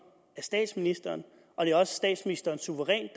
af statsministeren og det er også statsministeren suverænt